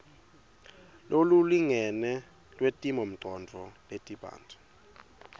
lolulingene lwetimongcondvo letibanti